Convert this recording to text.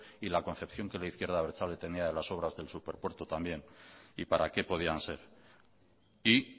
y la concepción que la izquierda abertzale tenía de las obras del superpuerto también y para qué podían ser y